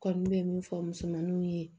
Kɔni bɛ min fɔ musomaninw ye